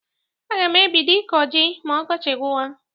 Aga m ebido ịkọ jị ma ọkọchị gwụwa.